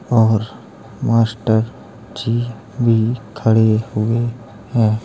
और मास्टर जी भी खड़े हुए हैं।